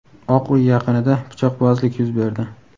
Oq uy yaqinida pichoqbozlik yuz berdi.